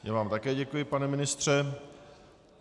Já vám také děkuji, pane ministře.